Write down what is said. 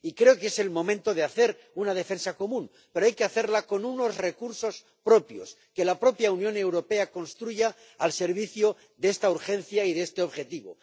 Y creo que es el momento de hacer una defensa común, pero hay que hacerla con unos recursos propios que la propia Unión Europea construya al servicio de esta urgencia y de este objetivo.